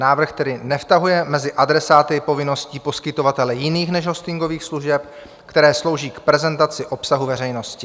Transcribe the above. Návrh tedy nevtahuje mezi adresáty povinností poskytovatele jiných než hostingových služeb, které slouží k prezentaci obsahu veřejnosti.